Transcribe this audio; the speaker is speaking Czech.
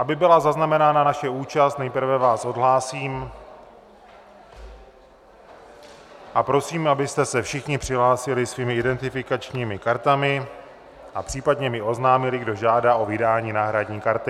Aby byla zaznamenána naše účast, nejprve vás odhlásím a prosím, abyste se všichni přihlásili svými identifikačními kartami a případně mi oznámili, kdo žádá o vydání náhradní karty.